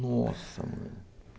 Nossa, mano.